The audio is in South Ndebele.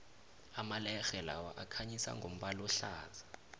amalerhe lawa akhanyisa ngombala ohlaza